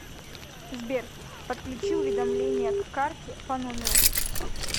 сбер подключи уведомления к карте по номеру